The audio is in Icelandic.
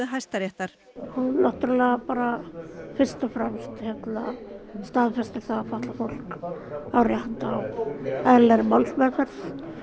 Hæstaréttar hún náttúrulega fyrst og fremst staðfestir að fatlað fólk á rétt á eðlilegri málsmeðferð